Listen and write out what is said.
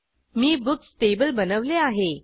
मी books table बनवले आहे